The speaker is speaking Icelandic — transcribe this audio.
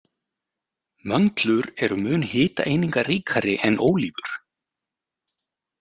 Möndlur eru mun hitaeiningaríkari en ólívur.